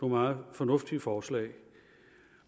meget fornuftige forslag